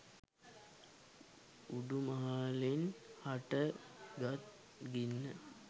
උඩු මහලින් හට ගත් ගින්න